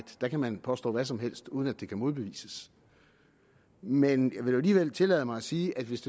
der kan man påstå hvad som helst uden at det kan modbevises men jeg vil nu alligevel tillade mig at sige at hvis